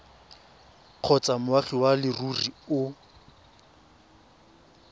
kgotsa moagi wa leruri o